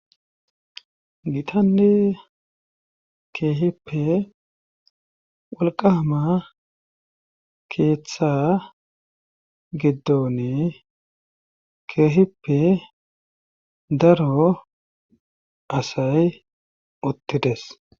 gitanne keehippe walqama keeththa giddonne keehippe daro asay uttides